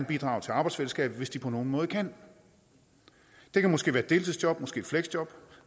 bidrage til arbejdsfællesskabet hvis de på nogen måde kan det kan måske være deltidsjob måske et fleksjob